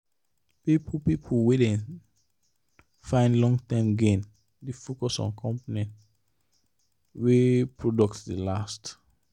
people people wey dey find long-term gain dey focus on companies wey product dey last.